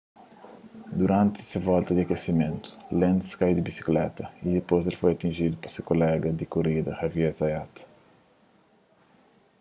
duranti se volta di akesimentu lenz kai di bisikleta y dipôs el foi atinjidu pa se kolega di korida xavier zayat